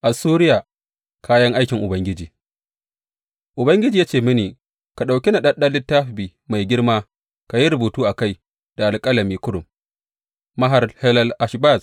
Assuriya kayan aikin Ubangiji Ubangiji ya ce mini, Ka ɗauki naɗaɗɗen littafi mai girma ka yi rubutu a kai da alƙalami kurum, Maher Shalal Hash Baz.